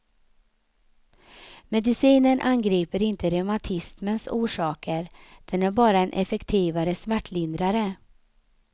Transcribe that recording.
Medicinen angriper inte reumatismens orsaker, den är bara en effektivare smärtlindrare.